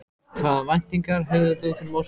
Hvaða væntingar hefur þú til mótsins?